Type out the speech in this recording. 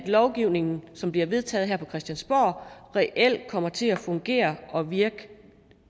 lovgivningen som bliver vedtaget her på christiansborg reelt kommer til at fungere og virke